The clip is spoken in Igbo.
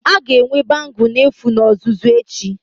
A ga-enwe bangle n'efu na ọzụzụ echi